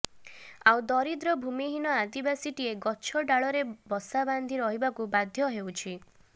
ଆଉ ଦରିଦ୍ର ଭୂମିହୀନ ଆଦିବାସୀଟିଏ ଗଛ ଡାଲରେ ବସା ବାନ୍ଧି ରହିବାକୁ ବାଧ୍ୟ ହେଉଛି